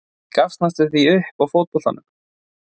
Ég gafst næstum því upp á fótboltanum.